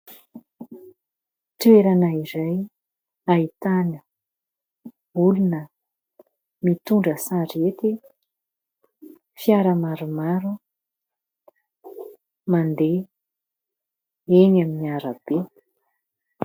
Toerana iray ahitana olona mitondra sarety, fiara maromaro mandeha eny amin'ny arabe.